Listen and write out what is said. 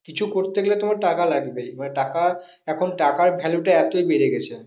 কিছু করতে গেলে তোমার টাকা লাগবেই মানে টাকা, এখন টাকার value টা এতই বেড়ে গেছে।